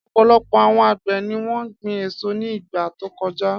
Ọ̀pọ̀lọpọ̀ àwọn àgbẹ̀ ni wọ́n gbin èso ní ìgbà tó kọjá.